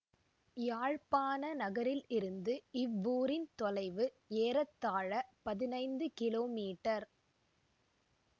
யாழ்ப்பாண நகரில் இருந்து இவ்வூரின் தொலைவு ஏறத்தாழ பதினைந்து கிலோமீட்டர்